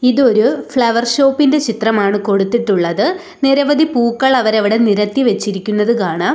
ഇതൊരു flower shop ഇൻ്റെ ചിത്രമാണ് കൊടുത്തിട്ടുള്ളത് നിരവധി പൂക്കൾ അവരവിടെ നിരത്തി വെച്ചിരിക്കുന്നത് കാണാം.